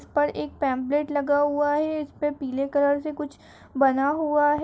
इस पर एक पेम्पलेट लगा हुआ है इस पर पीले कलर से कुछ बना हुआ है।